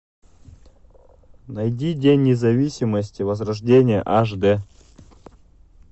найди день независимости возрождение аш дэ